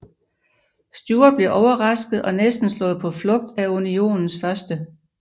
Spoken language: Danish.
Stuart blev overrasket og næsten slået på flugt af Unionens 1